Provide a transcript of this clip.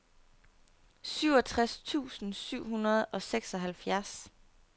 syvogtres tusind syv hundrede og seksoghalvfjerds